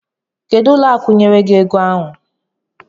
Kedu ụlọ akụ biyere gi ego ahụ?